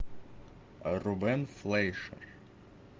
рубен флейшер